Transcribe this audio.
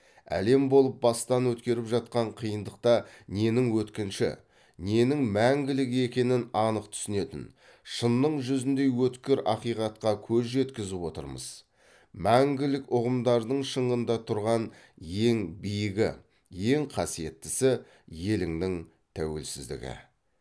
әлем болып бастан өткеріп жатқан қиындықта ненің өткінші ненің мәңгілік екенін анық түсінетін шынның жүзіндей өткір ақиқатқа көз жеткізіп отырмыз мәңгілік ұғымдардың шыңында тұрған ең биігі ең қасиеттісі елімнің тәуелсіздігі